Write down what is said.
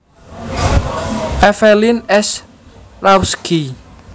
Evelyn S Rawski